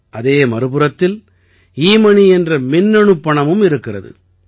அதே மறுபுறத்தில் எமோனி என்ற மின்னணுப் பணமும் இருக்கிறது